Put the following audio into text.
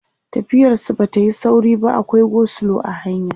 tafiyar su Bata Yi sauri ba akwai go slow a hanya